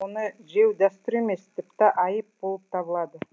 оны жеу дәстүр емес тіпті айып болып табылады